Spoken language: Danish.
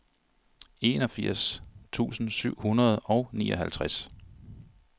enogfirs tusind syv hundrede og nioghalvtreds